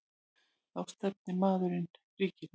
Þá stefndi maðurinn ríkinu.